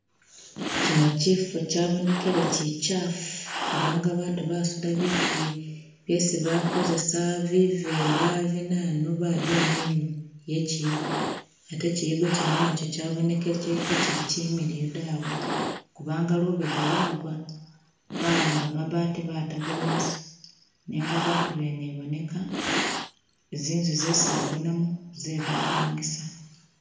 Kyino kyifo kyabonekele kyikyafu kubanga baatu basuda biitu byesi bakozesa bivela binanu baduma inyuma ye kiyigo atee kiyigo kyene kyabonekele kekyili kyimiliyu dawe kubanga lubega lwagwa bahamba mabaati batagawo busa nenga batubene iboneka zinzu zesi bagonamo zebapangisa.